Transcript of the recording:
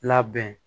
Labɛn